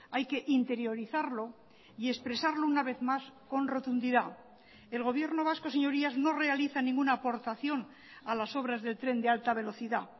hay que interiorizarlo y expresarlo una vez más con rotundidad el gobierno vasco señorías no realiza ninguna aportación a las obras del tren de alta velocidad